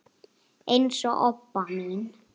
eins og Obba mín.